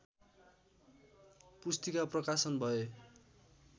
पुस्तिका प्रकाशन भए